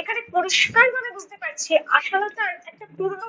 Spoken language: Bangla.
এখানে পরিস্কার ভাবে বুঝতে পারছি আশালতার একটা পুরনো